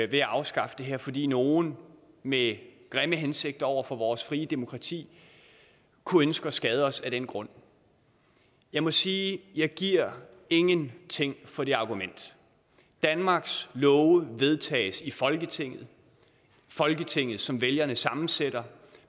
ved at afskaffe det her fordi nogle med grimme hensigter over for vores frie demokrati kunne ønske at skade os af den grund jeg må sige at jeg giver ingenting for det argument danmarks love vedtages i folketinget folketinget som vælgerne sammensætter